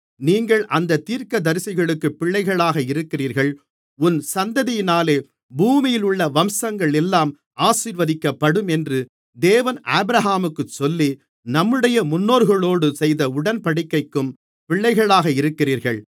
நீங்கள் அந்தத் தீர்க்கதரிசிகளுக்குப் பிள்ளைகளாக இருக்கிறீர்கள் உன் சந்ததியினாலே பூமியிலுள்ள வம்சங்களெல்லாம் ஆசீர்வதிக்கப்படும் என்று தேவன் ஆபிரகாமுக்குச் சொல்லி நம்முடைய முன்னோர்களோடு செய்த உடன்படிக்கைக்கும் பிள்ளைகளாக இருக்கிறீர்கள்